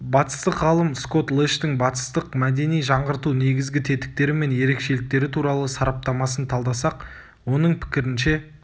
батыстық ғалым скотт лэштың батыстық мәдени жаңғырту негізгі тетіктері мен ерекшеліктері туралы сараптамасын талдасақ оның пікірінше